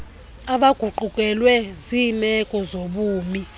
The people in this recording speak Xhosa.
abaguqukelwe ziimeko zobumi